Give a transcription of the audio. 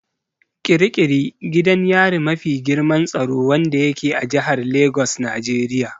Ƙiri ƙiri gidan yari me mafi girman tsaro wanda yake a jihar Lagos Nigeria.